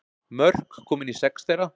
Mörk komin í sex þeirra